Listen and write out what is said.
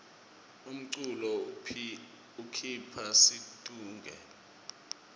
umculo ukhipha situnge